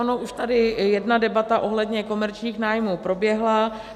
Ona už tady jedna debata ohledně komerčních nájmů proběhla.